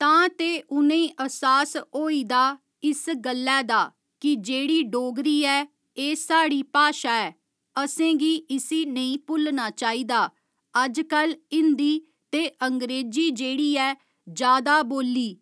तां ते उ'नें ई अहसास होई दा इस गल्लै दा कि जेह्ड़ी डोगरी ऐ एह् साढ़ी भाशा ऐ असेंगी इसी नेईं भुल्लना चाहिदा अजकल हिंदी ते अंगरेजी जेह्ड़ी ऐ जादा बोल्ली